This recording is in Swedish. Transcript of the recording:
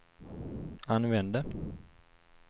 använde